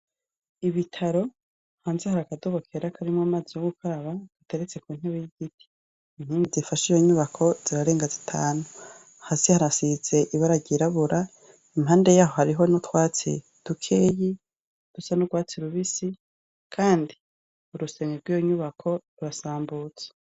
Ibitaro hanze har’akadobokera akarimwo amaze yo gukaraba gateretse ku ntebo y'igiti imtingi zifashaijo nyubako zirarenga zitanu hasi harasize ibararyirabura impande yaho hariho noutwatsi dukeyi dusa n'urwatsi rubisi, kandi urusemgi rw'iyo nyubako rurasambutse.